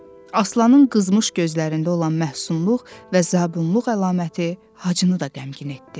Aslanın qızmış gözlərində olan məhsunluq və zabunluq əlaməti Hacını da qəmgin etdi.